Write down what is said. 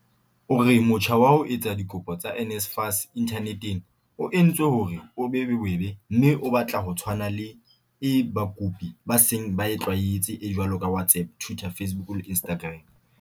O re motjha wa ho etsa dikopo tsa NSFAS inthaneteng o entswe hore o be bobebe mme o batla o tshwana le e bakopi ba seng ba e tlwaetse e jwalo ka WhatsApp, Twitter, Facebook le Instagram."